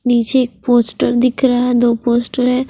निचे एक पोस्टर दिखर हा है दो पोस्टर है।